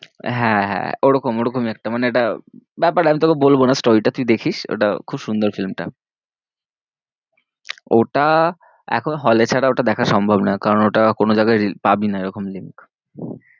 হ্যাঁ, হ্যাঁ ওরকম ওরকমই একটা মানে একটা ব্যাপার আমি তোকে বলবো না story টা তুই দেখিস ওটা খুব সুন্দর film টা ওটা এখন hall এ ছাড়া ওটা দেখা সম্ভব না, কারণ ওটা কোনো জায়গায় পাবি না এরকম link